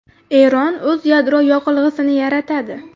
Eron o‘z yadro yoqilg‘isini yaratadi.